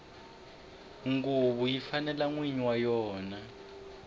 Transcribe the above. nguvo yi fanela nwini wa yona